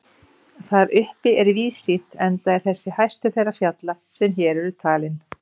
Þar uppi er víðsýnt enda er þessi hæstur þeirra fjalla sem hér eru talin.